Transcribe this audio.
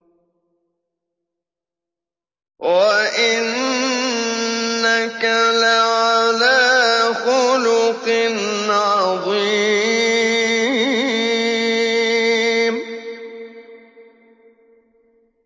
وَإِنَّكَ لَعَلَىٰ خُلُقٍ عَظِيمٍ